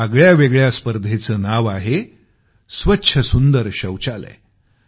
या आगळ्यावेगळ्या स्पर्धेचं नाव आहे स्वच्छ सुंदर शौचालय